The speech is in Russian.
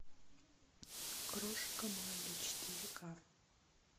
крошка молли четыре к